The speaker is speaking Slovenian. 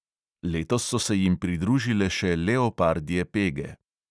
Letos so se jim pridružile še leopardje pege.